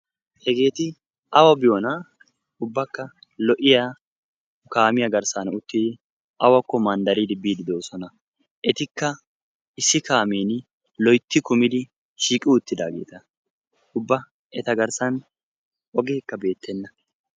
Hegeeti awa biyona ubbaka lo'iya kaamiya garssan uttidi awako manddaridi biidi deosona. etikka issi kaameni loytti kumidi shiiqi uttidagetta. Ubba eta garssan ogekka beetena.